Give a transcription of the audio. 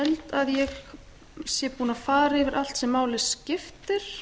að ég sé búin að fara yfir allt sem máli skiptir